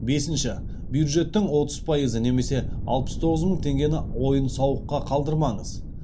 бесінші бюджеттің отыз пайызы немесе алпыс тоғыз мың теңгені ойын сауыққа қалдырмаңыз